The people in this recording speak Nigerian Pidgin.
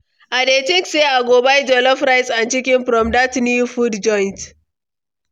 I dey think say i go buy jollof rice and chicken from dat new food joint.